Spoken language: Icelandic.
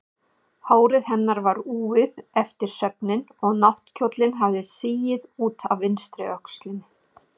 Hár hennar var úfið eftir svefninn og náttkjóllinn hafði sigið út af vinstri öxlinni.